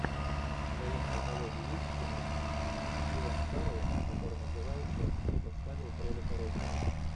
в твоем каталоге есть кино с стивом кареллом которое называется кто подставил кролика роджера